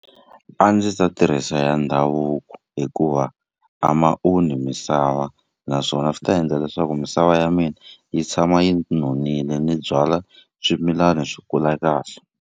A ndzi ta tirhisa ya ndhavuko hikuva a ma onhi misava naswona swi ta endla leswaku misava ya mina yi tshama yi nonile ni byala swimilana swi kula kahle.